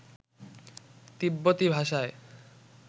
তিব্বতী ভাষায়